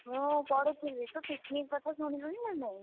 ମୁଁ ପଢୁଥିଲି ତୁ picnic କଥା ଶୁଣିଲୁଣି ନା ନାଇଁ?